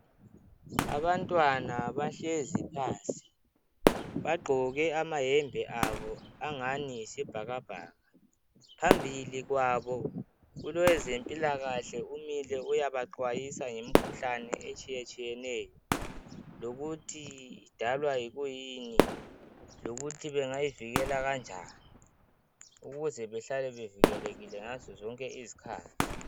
Abantwana bahlezi phansi bagqoke amayembe abo angani yisibhakabhaka phambili kwabo kulowezempilakahle umile uyabaxwayisa ngemikhuhlane etshiyetshiyeneyo lokuthi idalwa yikuyini lokuthi bengayivikela kanjani ukuze behlale bevikelekile ngazo zonke izikhathi